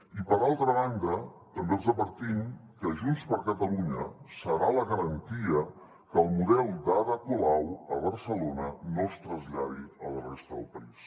i per altra banda també els advertim que junts per catalunya serà la garantia que el model d’ada colau a barcelona no es traslladi a la resta del país